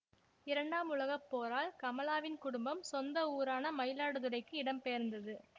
இரண்டாம் உலகப்போரால் கமலாவின் குடும்பம் சொந்த ஊரான மயிலாடுதுறைக்கு இடம்பெயர்ந்தது